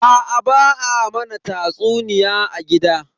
Aa ba a mana tatsuniya a gida.